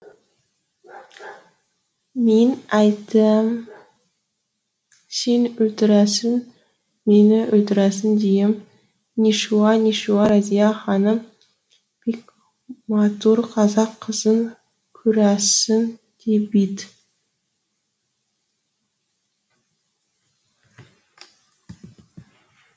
мин әйтәм син ултірәсін мині ултірәсін диім нишауа нишауа разия ханым бик матур қазақ қызын курасін ди бит